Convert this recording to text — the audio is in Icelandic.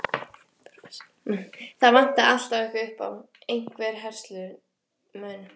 Það vantaði alltaf eitthvað upp á, einhvern herslumun.